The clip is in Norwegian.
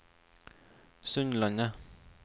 Sundlandet